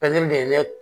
de ye ne